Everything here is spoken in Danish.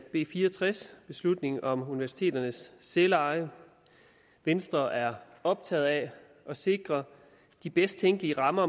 b fire og tres om universiteternes selveje venstre er optaget af at sikre de bedst tænkelige rammer